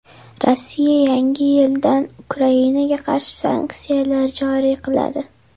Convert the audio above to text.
Rossiya yangi yildan Ukrainaga qarshi sanksiyalar joriy qiladi.